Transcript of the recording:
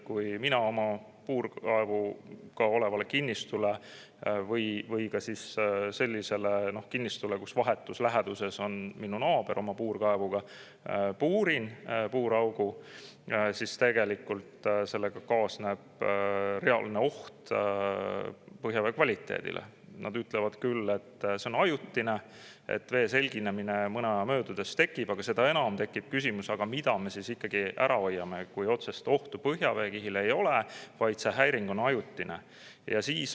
Kui mina oma puurkaevuga kinnistule või sellisele kinnistule, kus vahetus läheduses on naabri puurkaev, puurin puuraugu, siis sellega kaasneb reaalne oht põhjavee kvaliteedile, mille kohta öeldakse küll, et see on ajutine, et mõne aja möödudes vesi selgineb, aga seda enam tekib see küsimus, mida me siis ikkagi ära hoida tahame, kui otsest ohtu põhjaveekihile ei ole, vaid see häiring on ajutine.